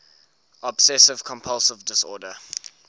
obsessive compulsive disorder